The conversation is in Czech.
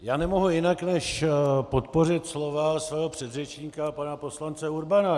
Já nemohu jinak než podpořit slova svého předřečníka pana poslance Urbana.